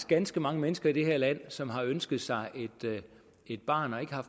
ganske mange mennesker i det her land som har ønsket sig et barn og ikke har